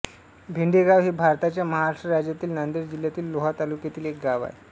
भेंडेगाव हे भारताच्या महाराष्ट्र राज्यातील नांदेड जिल्ह्यातील लोहा तालुक्यातील एक गाव आहे